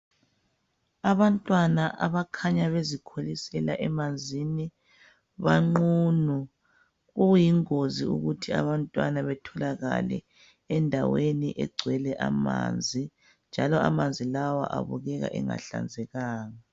Abantwana abakhanya bezikholisela emanzini banqunu okuyingozi ukuthi abantwana batholakale endaweni egcwele amanzi njalo amanzi lawa abukeka engahlanzekanga